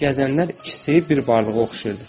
Gəzənlər ikisi bir varlığa oxşayırdı.